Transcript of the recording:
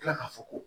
kila ka fɔ ko